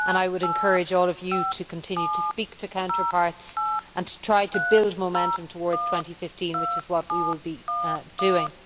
I would encourage all of you to continue to speak to your counterparts and to try to build momentum towards 2015, which is what we will be doing.